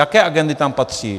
Jaké agendy tam patří?